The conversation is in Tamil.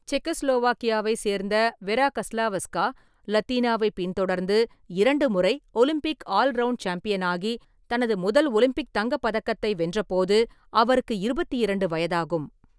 செக்கோஸ்லோவாக்கியாவை சேர்ந்த வெரா கஸ்லாவஸ்கா, லத்தீனாவைப் பின்தொடர்ந்து இரண்டு முறை ஒலிம்பிக் ஆல் ரௌவுண்ட் சாம்பியனாகி, தனது முதல் ஒலிம்பிக் தங்கப் பதக்கத்தை வென்றபோது அவருக்கு இருபத்தி இரண்டு வயதாகும்.